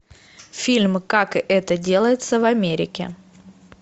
фильм как это делается в америке